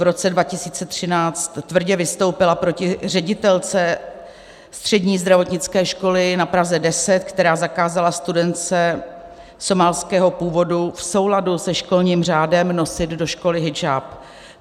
V roce 2013 tvrdě vystoupila proti ředitelce Střední zdravotnické školy na Praze 10, která zakázala studentce somálského původu v souladu se školním řádem nosit do školy hidžáb.